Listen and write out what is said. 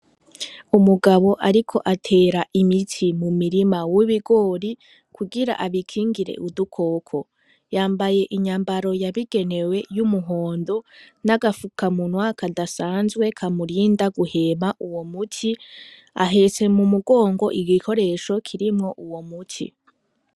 Umugabo ariko atera imiti mumirima w'ibigori kugira abikingire udukoko, yambaye inyambaro yabigenewe y'umuhondo n'agafukamunwa kadasanzwe kamurinda guhema uwo muti, ahetse mu mugongo igikoresho kirimwo uwo muti.